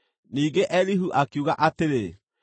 Ningĩ Elihu akiuga atĩrĩ: